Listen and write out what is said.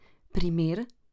Primer?